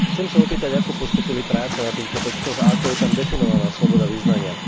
Chcem sa opýtať, ako postúpili práce na týchto textoch a ako je tam definovaná sloboda vyznania.